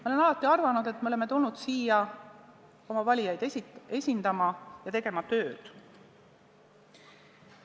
Ma olen alati arvanud, et me oleme tulnud siia oma valijaid esindama ja tööd tegema.